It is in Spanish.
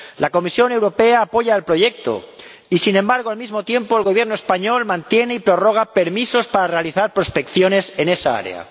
La Comisión Europea apoya el proyecto y, sin embargo, al mismo tiempo, el Gobierno español mantiene y prorroga permisos para realizar prospecciones en esa área.